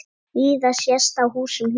Víða sést á húsum hér.